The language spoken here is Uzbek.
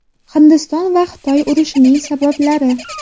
Hindiston va Xitoy urushining sabablari.